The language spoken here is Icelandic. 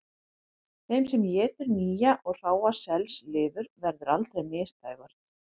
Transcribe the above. Þeim sem étur nýja og hráa selslifur verður aldrei misdægurt